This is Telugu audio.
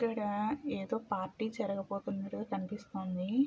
ఇక్కడ ఏదో పార్టీ జరగబోతున్నట్టుగా కనిపిస్తుంది.